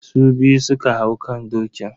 Su biyu su ka hau kan dokin.